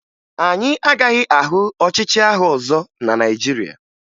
Anyị agaghị ahụ ọchịchị agha ọzọ na Naịjirịa